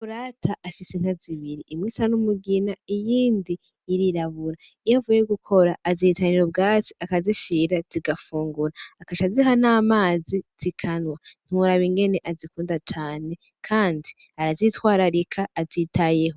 Makurata afise Inka zibiri, imwe isa n'umugina, iyindi irirabura. Iyo avuye gukora azihitanira ubwatsi akazishira zigafungura, agaca aziha n'amazi zikanwa ntiworaba ingene azikunda cane Kandi arazitwararika azitayeho.